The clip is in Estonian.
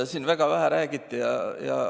Siin väga vähe sellest räägiti.